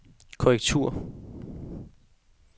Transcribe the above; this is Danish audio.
korrektur